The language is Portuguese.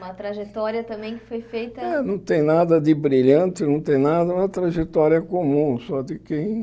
Uma trajetória também que foi feita... Não tem nada de brilhante, não tem nada, uma trajetória comum, só de quem?